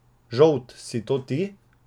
Žolt, si to ti?